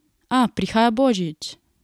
A prihaja božič!